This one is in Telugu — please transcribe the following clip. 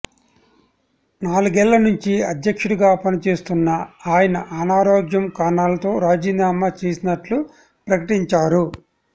నాలుగేళ్ల నుంచి అధ్యక్షుడిగా పనిచేస్తున్న ఆయన అనారోగ్య కారణాలతో రాజీనామా చేసినట్లు ప్రకటించారు